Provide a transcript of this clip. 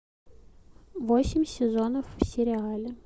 восемь сезонов в сериале